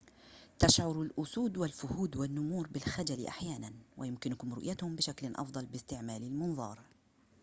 تشعر الأسود والفهود والنمور بالخجل أحياناً ويمكنكم رؤيتهم بشكل أفضل باستعمال المنظار